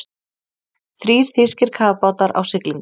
Þrír þýskir kafbátar á siglingu.